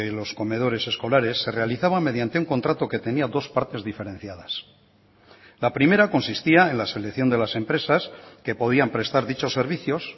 los comedores escolares se realizaba mediante un contrato que tenía dos partes diferenciadas la primera consistía en la selección de las empresas que podían prestar dichos servicios